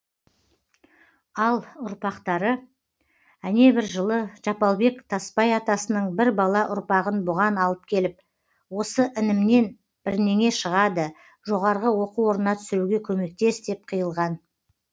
ал ұрпақтары әнебір жылы жапалбек тасбай атасының бір бала ұрпағын бұған алып келіп осы інімнен бірнеңе шығады жоғарғы оқу орнына түсіруге көмектес деп қиылған